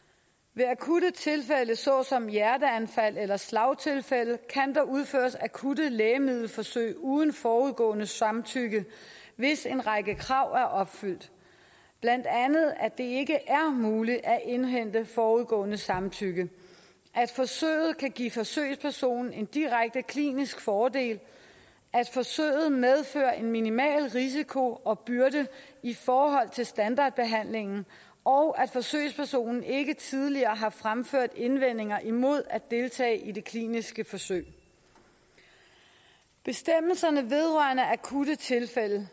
ved akutte tilfælde såsom hjerteanfald eller slagtilfælde kan der udføres akutte lægemiddelforsøg uden forudgående samtykke hvis en række krav er opfyldt blandt andet at det ikke er muligt at indhente forudgående samtykke at forsøget kan give forsøgspersonen en direkte klinisk fordel at forsøget medfører en minimal risiko og byrde i forhold til standardbehandlingen og at forsøgspersonen ikke tidligere har fremført indvendinger imod at deltage i det kliniske forsøg bestemmelserne vedrørende akutte tilfælde